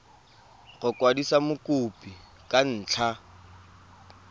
go kwadisa mokopi ka ntlha